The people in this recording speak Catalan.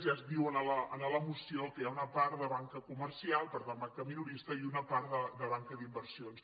ja es diu a la moció que hi ha una part de banca comercial per tant banca minorista i una part de banca d’inversions